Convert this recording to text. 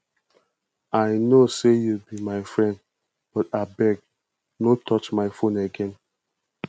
i no say you be my friend but abeg no touch my phone again